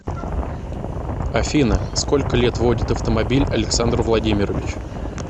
афина сколько лет водит автомобиль александр владимирович